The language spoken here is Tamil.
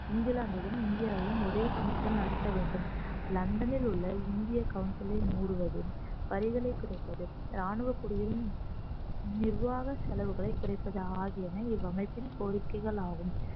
இங்கிலாந்திலும் இந்தியாவிலும் ஒரே சமயத்தில் நடத்த வேண்டும் லண்டனில் உள்ள இந்திய council ஐ மூடுவது வரிகளை குறைப்பது ராணுவக்குடியிலும் நிர்வாக செலவுகளை குறைப்பது ஆகியன இவ்வமைப்பின் கோரிக்கைகள் ஆகும்